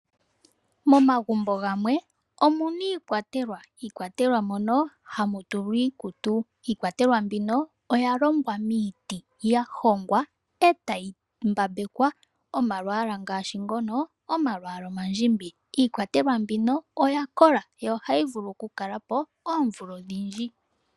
Momagumbo gamwe omuna iikwatelwa, iikwatelwa mono hamu tulwa iikutu. Iikwatelwa mbino oya longwa miiti, ya hongwa e tayi mbambekwa omalwaala ngashi ngono omalwaala omandjimbi. Iikwatelwa mbino oya kola, yo ohayi vulu oku kalapo oomvula odhindji.